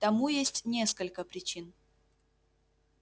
тому есть несколько причин